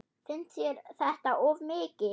Finnst þér þetta of mikið?